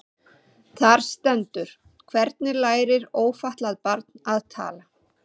Þar stendur: Hvernig lærir ófatlað barn að tala?